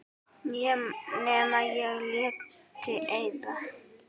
Nema ég léti eyða.